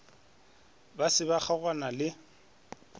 ba se ba kgaogana le